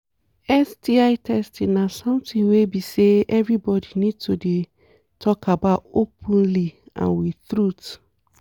sti testing na something wey be say everybody need to dey talk about openly and with truth